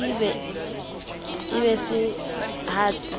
e be se ha se